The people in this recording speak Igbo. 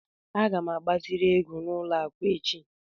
Aga m agbaziri ego n'ụlọ akụ echi.